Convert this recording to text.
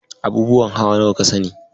Abubuwan hawa nawa ka sani?